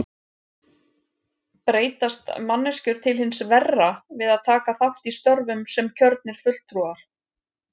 Breytast manneskjur til hins verra við að taka þátt í störfum sem kjörnir fulltrúar?